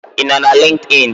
Ị nọ na LinkedIn?